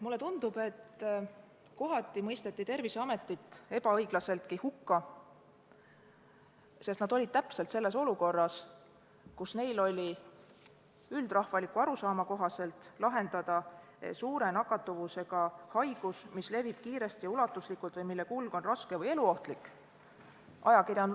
Mulle tundub, et kohati mõisteti Terviseamet ebaõiglaselt hukka, sest ta oli täpselt selles olukorras, kus tuli üldrahvaliku arusaama kohaselt lahendada suure nakkavusega haiguse, mis levib kiiresti ja ulatuslikult või mille kulg on raske või eluohtlik.